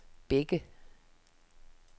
Bække